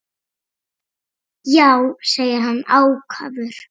Já, segir hann ákafur.